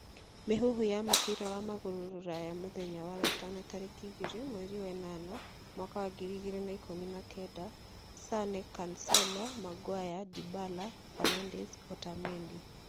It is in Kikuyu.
Mĩhuhu ya mũbira wa magũrũ Rũraya mũthenya wa gatano tareki 02.08.2019: Sane, Cancelo, Maguire, Dybala, Fernandes, Otamendi.